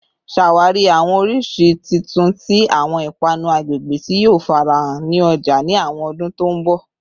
Ṣawari awọn oriṣi titun ti awọn ipanu agbegbe ti yoo farahan ni ọja ni awọn ọdun to nbo